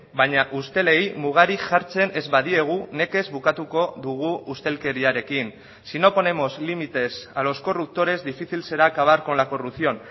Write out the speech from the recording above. baina ustelei mugarik jartzen ez badiegu nekez bukatuko dugu ustelkeriarekin si no ponemos límites a los corruptores difícil será acabar con la corrupción